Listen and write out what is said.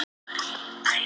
En hann kom víða við.